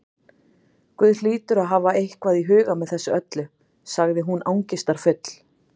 Guð hlýtur að hafa eitthvað í huga með þessu öllu- sagði hún angistarfull.